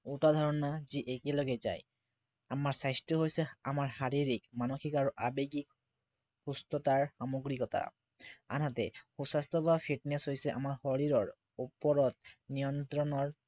দুটা ধাৰণা যি একেলগে যায়। আমাৰ স্বাস্থ্য় হৈছে আমাৰ শাৰীৰিক, মানসিক আৰু আৱেগিক সুস্থতাৰ সামগ্ৰিকতা। আনহাতে, সু স্বাস্থ্য় বা fitness হৈছে আমাৰ শৰীৰৰ ওপৰত নিয়ন্ত্ৰণৰ